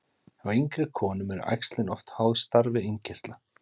Hjá yngri konum eru æxlin oft háð starfi innkirtla.